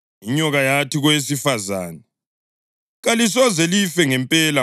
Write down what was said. Inyoka yathi kowesifazane, “Kalisoze life ngempela.